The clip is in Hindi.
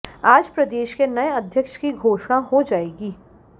आज प्रदेश के नए अध्यक्ष की घोषणा हो जाएगी